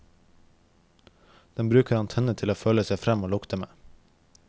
Den bruker antennene til å føle seg fram og lukte med.